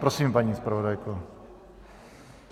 Prosím, paní zpravodajko.